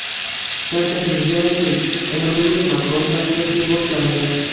Shavkat Mirziyoyevning Emmanuel Makron bilan uchrashuvi boshlandi.